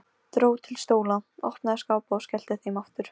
Dró til stóla, opnaði skápa og skellti þeim aftur.